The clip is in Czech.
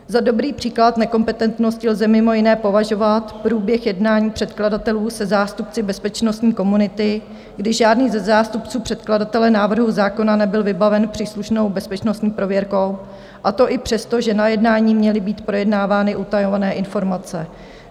Za dobrý příklad nekompetentnosti lze mimo jiné považovat průběh jednání předkladatelů se zástupci bezpečnostní komunity, kdy žádný ze zástupců předkladatele návrhu zákona nebyl vybaven příslušnou bezpečnostní prověrkou, a to i přesto, že na jednání měly být projednávány utajované informace.